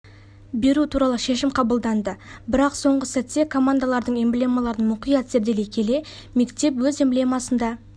беру туралы шешім қабылданды бірақ соңғы сәтте командалардың эмблемаларын мұқият зерделей келе мектеп өз эмблемасында